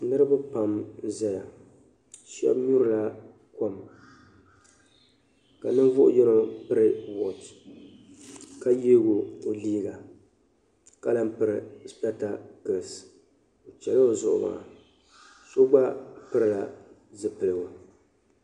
Niraba pam n ʒɛya shaba nyurila kom ka ninvuɣu yino piri wooch ka yeego o liiga ka lahi piri spɛtaklis o chɛla o zuɣu maa so gba pilila zipiligu